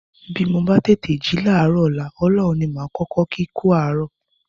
Bí mo bá tètè jí láàárọ̀ ọ̀la, Ọlọ́run ní màá kọ́kọ́ kí kú àárọ̀